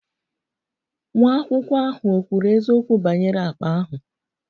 Nwa akwụkwọ ahụ ò kwuru eziokwu banyere akpa ahụ?